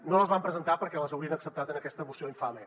no les vam presentar perquè les haurien acceptat en aquesta moció infame